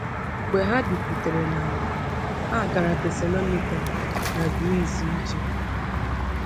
Mgbe ha bikwutere n’ala, ha gara Thessalonica n’Greece ije.